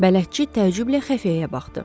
Bələdçi təəccüblə xəfiyyəyə baxdı.